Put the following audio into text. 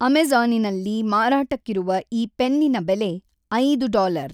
ಅಮೆಜಾ಼ನಿನಲ್ಲಿ ಮಾರಾಟಕ್ಕಿರುವ ಈ ಪೆನ್ನಿನ ಬೆಲೆ ಐದು ಡಾಲರ್.